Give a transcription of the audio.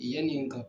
Yanni n ka